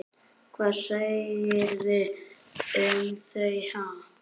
Hvað segirðu um þau, ha?